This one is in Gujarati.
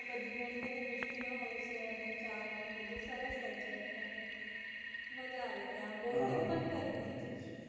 ત્યાં ઘણી બધી મિસ્ટી હોય છે અને ચાટ ને બધું સરસ હોય છે એટલે માજા આવે ત્યાં boating પણ કરી તી